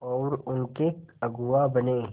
और उनके अगुआ बने